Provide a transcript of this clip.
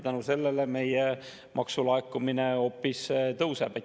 Tänu sellele meie maksulaekumine hoopis tõuseb.